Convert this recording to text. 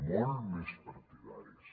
molt més partidaris